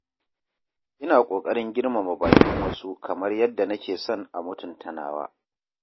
Ina ƙoƙarin girmama baƙin wasu kamar yadda nake son a mutunta nawa.